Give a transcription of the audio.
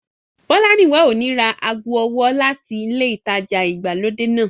Bọ́lárìnwá ò ní ra ago ọwọ́ láti ilé ìtajà ìgbàlódé náà